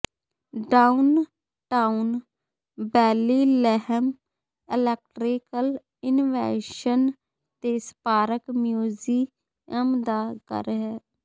downtown Bellingham electrical invention ਦੇ Spark museum ਦਾ ਘਰ ਹੈ